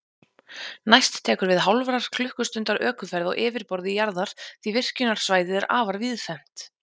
Næst tekur við hálfrar klukkustundar ökuferð á yfirborði jarðar, því virkjunarsvæðið er afar víðfeðmt.